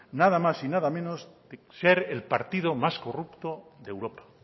nada más y nada menos que ser el partido más corrupto de europa